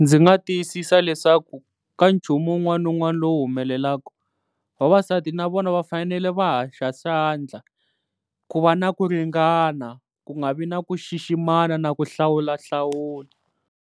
Ndzi nga tiyisisa leswaku ka nchumu wun'wana ni wun'wana lowu humelelaka, vavasati na vona va fanele va hoxa xandla ku va na ku ringana, ku nga vi na ku xiximana na ku hlawulahlawula.